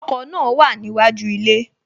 Ọkọ̀ náà wà níwájú ilé